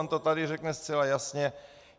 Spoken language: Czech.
On to tady řekne zcela jasně.